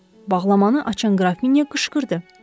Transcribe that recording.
Bağlamanı açan qrafinya qışqırdı.